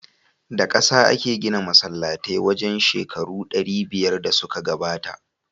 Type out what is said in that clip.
Da kasa ake gina masallatai wajen shekaru ɗari biyar da suka gabata.